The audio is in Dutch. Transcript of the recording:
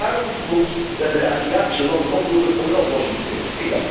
Ook daarom is het goed dat wij de Aziatische landen oproepen om een oplossing te vinden.